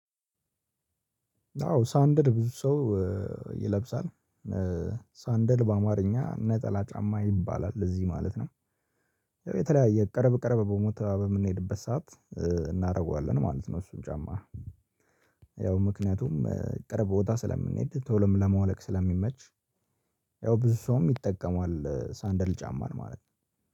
አዎ ሳንደር ብዙ ሰው ይለብሳል ሳንደል በአማርኛ ነጠላ ጫማ ይባላል ለዚህ ማለት ነው። ያው የተለያየ ቀረብ ቀረብ ቦታበምንሄድበት ሰዓት እናደርገዋለን ማለት ነው እሱን ጫማ። ያው ምክንያቱም ቅርብ ቦታ ስለምንሄድ ቶሎም ለማውለቅ ስለሚመች። ያው ብዙ ሰውም ይጠቀማል ሳንደል ጫማን ማለት ነው።